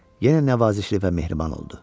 Yenə nəvazişli və mehriban oldu.